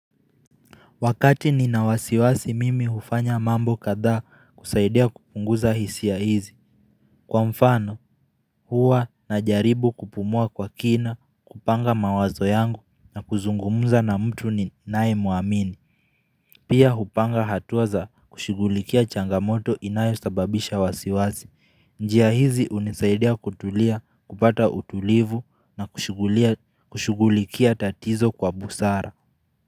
Wakati ninawasiwasi mimi hufanya mambo kadhaa kusaidia kupunguza hisia hizi Kwa mfano huwa na jaribu kupumua kwa kina kupanga mawazo yangu na kuzungumuza na mtu ninaye muamini Pia hupanga hatuaza kushughulikia changamoto inayo sababisha wasiwazi njia hizi unisaidia kutulia kupata utulivu na kushugulikia tatizo kwa busara.